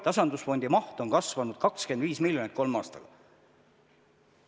Tasandusfondi maht on kasvanud 25 miljonit kolme aastaga.